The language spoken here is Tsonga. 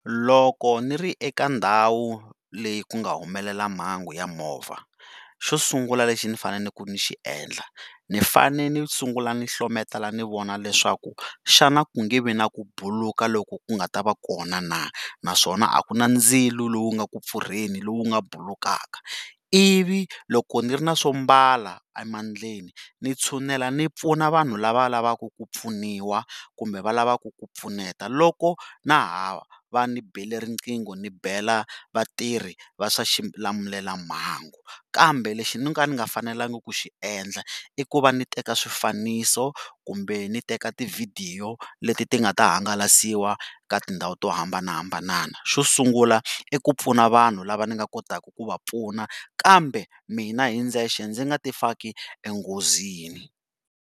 Loko ni ri eka ndhawu leyi ku nga humelela mhangu ya movha xo sungula lexi ni fanele ku ni xi endla ni fane ni sungula ni hlometela ni vona leswaku xana ku nge vi na ku buluka loku ku nga ta vca kona na naswona a ku na ndzilo lowu nga ku pfurheni lowu nga bulukaka, ivi loko ni ri na swo mbala emandleni ni tshinela ni pfuna vanhu la va lavaka ku pfuniwa kumbe va lavaka ku pfuneka loko na ha va ti bele riqingho ni bela vatirhisi va swa xilamulelamhangu kambe lexi no ka ni nga fanelanga ku xi endla i ku va ni teka swifaniso kumbe ti teka tivhidiyo leti ti nga ta hangalasiwa ka tindhawu to hambanahambana, xo sungula i ku pfuna vanhu lava ni nga kotaka ku va pfuna kambe mina hi ndzexe ni nga ti faki enghozini.